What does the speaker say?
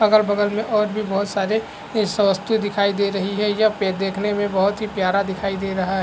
अगल-बगल में और भी बोहोत सारे इस वस्तु दिखाई दे रही है यह पे देखने में बोहोत ही प्यारा दिखाई दे रहा --